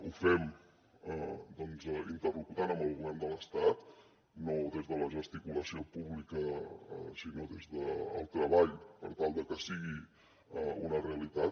ho fem doncs interlocutant amb el govern de l’estat no des de la gesticulació pública sinó des del treball per tal de que sigui una realitat